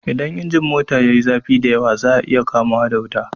Idan injin mota yayi zafi da yawa zai iya kama wuta.